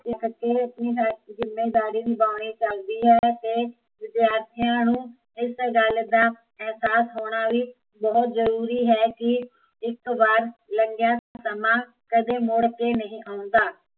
ਆਪਣੀ ਜਿੱਮੇਵਾਰੀ ਨਿਭਾਉਣੀ ਚਾਹੀਦੀ ਹੈ ਅਤੇ ਵਿਦਿਆਰਥੀਆ ਨੂੰ, ਇਸ ਗੱਲ ਦਾ, ਅਹਿਸਾਸ ਹੋਣਾ ਵੀ, ਬਹੁਤ ਜਰੂਰੀ ਹੈ ਕੀ, ਇੱਕ ਵਾਰ ਲੰਘਿਆ ਸਮਾਂ ਕਦੀ ਮੁੜ ਕੇ ਨਹੀਂ ਆਉਂਦਾ